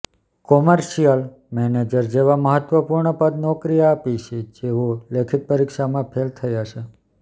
commercial manager જેવા મહત્વપૂર્ણ પદ નોકરી આપી છે જેઓ લેખિત પરીક્ષામાં ફેલ થયા છે